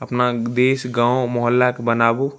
अपना देश गाँव महौला के बनाबू।